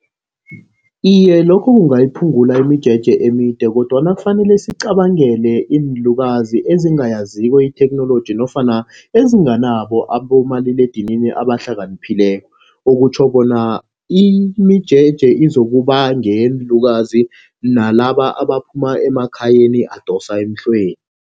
Iye, lokho kungayiphungula imijeje emide kodwana kufanele siqabangele iinlukazi ezingayaziko itheknoloji nofana ezinganabo abobomaliledinini abahlakaniphileko. Okutjho bona imijeje izokuba ngeyeenlukazi nalaba abaphuma emakhayeni abadosa emhlweni.